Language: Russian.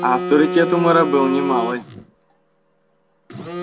а авторитет у мэра был не малый